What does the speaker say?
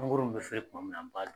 Mangoro be feren tuma min na, n b'a